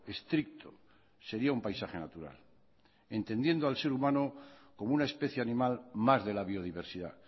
estricto sería un paisaje natural entendiendo al ser humano como una especie animal más de la biodiversidad